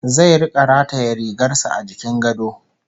Zai rika rataye rigar sa a jikin gado